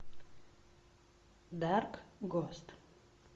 дарк гост